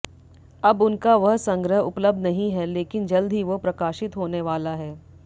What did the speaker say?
अब उनका वह संग्रह उपलब्ध नहीं है लेकिन जल्द ही वो प्रकाशित होने वाला है